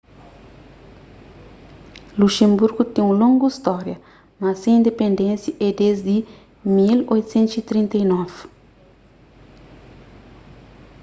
luxenburgu ten un longu stória mas se indipendénsia é desdi di 1839